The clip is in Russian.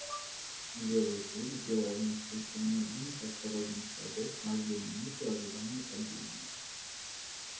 белый клык сделал несколько медленных осторожных шагов каждую минуту ожидая нападения